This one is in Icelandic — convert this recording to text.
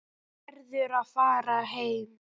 Verður að fara heim.